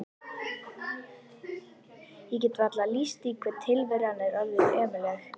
Ég get varla lýst því hve tilveran er orðin ömurleg.